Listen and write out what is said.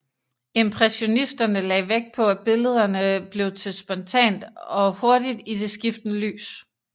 Impressionisterne lagde vægt på at billederne blev til spontant og hurtigt i det skiftende lys